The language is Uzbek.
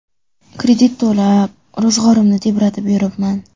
Kredit to‘lab, ro‘zg‘orimni tebratib yuribman.